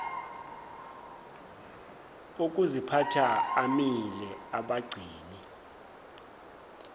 okuziphatha amile abagcini